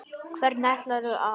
Hvernig ætlarðu að.?